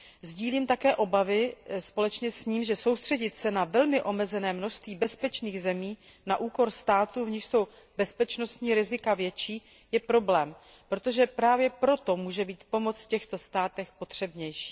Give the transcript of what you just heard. Sdílím také obavy společně s ním, že soustředit se na velmi omezené množství bezpečných zemí na úkor států, v nichž jsou bezpečnostní rizika větší, je problém, protože právě proto může být pomoc v těchto státech potřebnější.